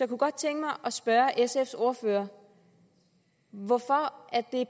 kunne godt tænke mig at spørge sfs ordfører hvorfor